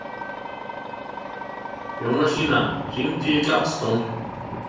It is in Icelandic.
Jónasína, hringdu í Gladstone.